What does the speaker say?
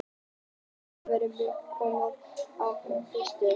Þarna á milli koma blágrýti og grágrýti.